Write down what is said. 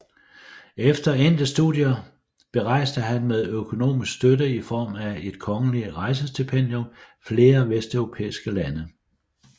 Efter endte studier berejste han med økonomisk støtte i form af et kongelig rejsestipendium flere vesteuropæiske lande